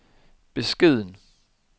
beskeden